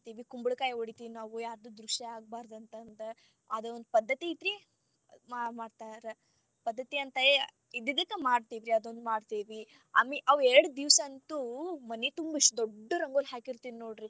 ಕುಂಬಳಕಾಯಿ ಒಡಿತೀವಿ ನಾವು ಯಾರ್ದು ದೃಷ್ಟಿ ಆಗಬಾರದ ಅಂತಂದ ಅದೊಂದ್ ಪದ್ಧತಿ ಐತಿರೀ ಮಾಡ್ತಾರ ಪದ್ಧತಿ ಅಂತ ಐತಿ ಇದ್ದಿದಕ್ಕ ಮಾಡ್ತೇವಿ ಅದೊಂದ್ ಮಾಡ್ತೇವಿ ಅವ್ ಎರಡ್ ದಿವಸ ಅಂತೂ ಮನಿ ತುಂಬ ಇಷ್ಟ ದೊಡ್ಡ ರಂಗೋಲಿ ಹಾಕಿರತೇನ್ ನೋಡ್ರಿ.